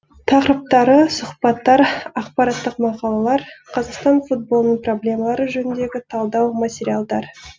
тақырыптары сұхбаттар ақпараттық мақалалар қазақстан футболының проблемалары жөніндегі талдау материалдар